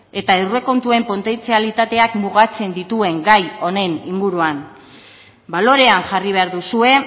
eta aurrekontuen potentzialitateak mugatzen dituen gai honen inguruan balorean jarri behar duzue